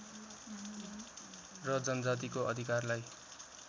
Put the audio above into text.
र जनजातिको अधिकारलाई